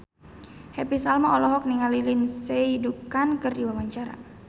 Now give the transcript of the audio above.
Happy Salma olohok ningali Lindsay Ducan keur diwawancara